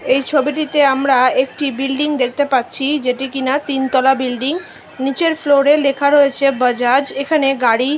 এই ছবিটিতে আমরা একটি বিল্ডিং দেখতে পাচ্ছি যেটি কিনা তিন তলা বিল্ডিং । নিচের ফ্লোরে লেখা রয়েছে বাজাজ এখানে গাড়ি--